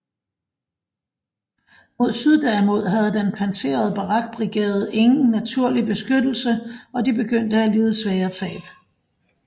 Mod syd derimod havde den pansrede Barak brigade ingen naturlig beskyttelse og de begyndte at lide svære tab